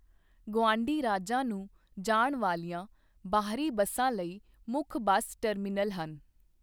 ਗੁਆਂਢੀ ਰਾਜਾਂ ਨੂੰ ਜਾਣ ਵਾਲੀਆਂ ਬਾਹਰੀ ਬੱਸਾਂ ਲਈ ਮੁੱਖ ਬੱਸ ਟਰਮੀਨਲ ਹਨ।